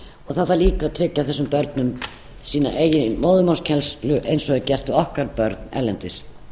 það þarf líka að tryggja þessum börnum sína eigin móðurmálskennslu eins og er gert við okkar börn erlendis